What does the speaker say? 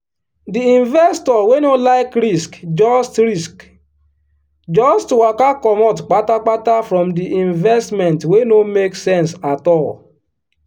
di investor wey no like risk just risk just waka comot patapata from the investment wey no make sense at all.